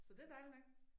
Så det dejligt nok